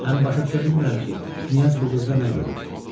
Həm başa düşə bilmirəm ki, knyaz bu qızda nə görüb.